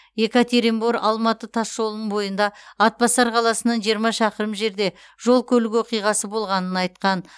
екатеринбор алматы тасжолының бойында атбасар қаласынан жиырма шақырым жерде жол көлік оқиғасы болғанын айтқан